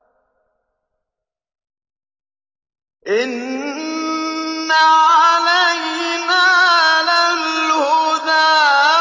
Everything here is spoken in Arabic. إِنَّ عَلَيْنَا لَلْهُدَىٰ